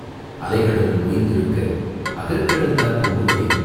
"அலைகடலும் ஓய்ந்திருக்க அகக் கடல்தான் பொங்குவதேன்?